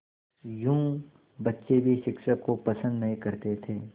यूँ बच्चे भी शिक्षक को पसंद नहीं करते थे